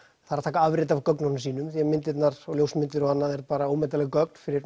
það er að taka afrit af gögnunum sínum því að myndirnar og ljósmyndir og annað er bara ómetanleg gögn fyrir